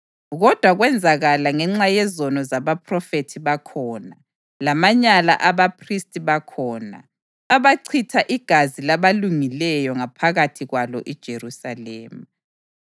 Kodwa kwenzakala ngenxa yezono zabaphrofethi bakhona, lamanyala abaphristi bakhona, abachitha igazi labalungileyo ngaphakathi kwalo iJerusalema.